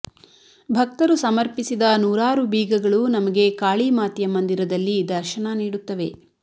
ಭಕ್ತರು ಸಮರ್ಪಿಸಿದ ನೂರಾರು ಬೀಗಗಳು ನಮಗೆ ಕಾಳಿ ಮಾತೆಯ ಮಂದಿರದಲ್ಲಿ ದರ್ಶನ ನೀಡುತ್ತವೆ